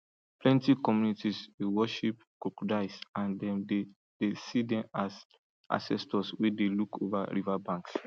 plenty communities dey worship crocodiles and them dey dey see den as ancestors wey look over riverbanks